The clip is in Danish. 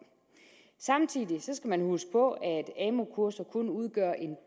samtidig skal man huske på at amu kurser kun udgør en